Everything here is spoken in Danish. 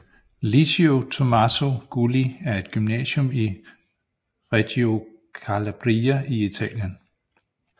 Liceo Tommaso Gulli er et gymnasium i Reggio Calabria i Italien